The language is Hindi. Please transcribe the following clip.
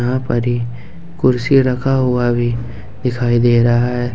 या पर ही कुर्सी रखा हुआ भी दिखाई दे रहा है।